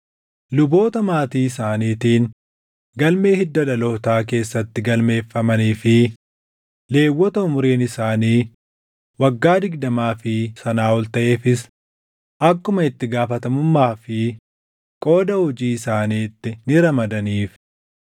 Luboota maatii isaaniitiin galmee hidda dhalootaa keessatti galmeeffamanii fi Lewwota umuriin isaanii waggaa digdamaa fi sanaa ol taʼeefis akkuma itti gaafatamummaa fi qooda hojii isaaniitti ni ramadaniif.